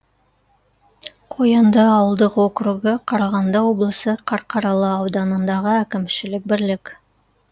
қоянды ауылдық округі қарағанды облысы қарқаралы ауданындағы әкімшілік бірлік